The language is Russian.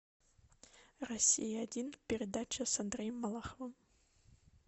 россия один передача с андреем малаховым